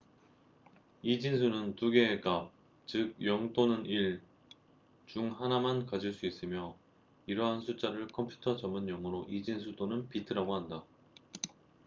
이진수는 두 개의 값즉 0 또는 1 중 하나만 가질 수 있으며 이러한 숫자를 컴퓨터 전문용어로 이진수 또는 비트bits라고 한다